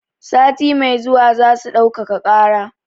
Sati mai zuwa zasu ɗaukaka ƙara.